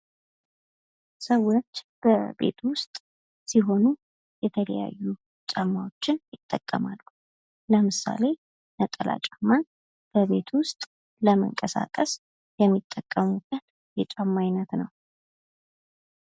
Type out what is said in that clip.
ሰዎች በቤት ውሰጥ ሲሆኑ የተለያዩ ጫማዎችን ይጠቀማሉ። ለምሳሌ ነጠላ ጫማን በቤት ውስጥ ለመንቀሳቀስ የሚጠቀሙበት የጫማ አይነት ነው።